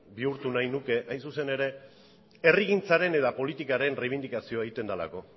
bihurtu nahi nuke hain zuzen ere herrigintzaren eta politikaren erreibindikazioa egiten delako